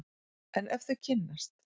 En ef þau kynnast!